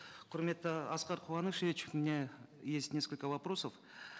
құрметті аскар куанышевич у меня есть несколько вопросов